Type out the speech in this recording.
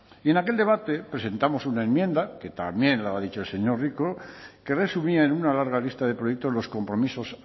y en aquel debate presentamos una enmienda que también lo ha dicho el señor rico que resumía en una larga lista de proyectos los compromisos